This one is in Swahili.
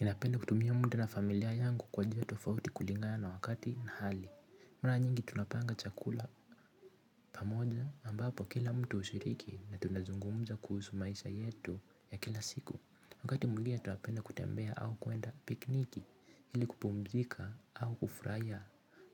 Ninapenda kutumia muda na familia yangu kwa jia tofauti kulingana na wakati na hali. Mara nyingi tunapanga chakula pamoja ambapo kila mtu ushiriki na tunazungumza kuhusu maisha yetu ya kila siku. Wakati mwingine tunapenda kutembea au kuenda pikniki ili kupumzika au kufraia